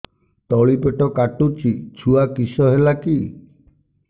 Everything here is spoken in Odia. ତଳିପେଟ କାଟୁଚି ଛୁଆ କିଶ ହେଲା କି